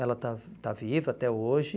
Ela está está viva até hoje.